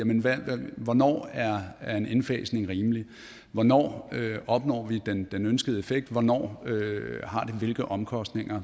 hvornår er en indfasning rimelig hvornår opnår vi den ønskede effekt hvornår har det hvilke omkostninger